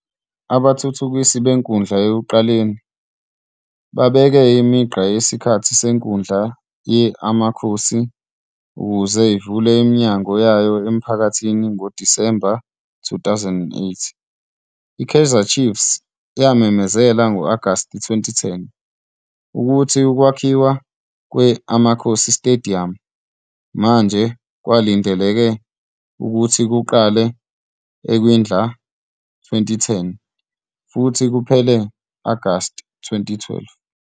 Abathuthukisi benkundla ekuqaleni babeke imigqa yesikhathi senkundla ye-Amakhosi, ukuze ivule iminyango yayo emphakathini ngoDisemba 2008. I-Kaizer Chiefs yamemezela ngo-Agasti 2010, ukuthi ukwakhiwa kwe-Amakhosi "Stadium" manje kwakulindeleke ukuthi kuqale ekwindla ka-2010, futhi kuphele ngo-Agashi 2012.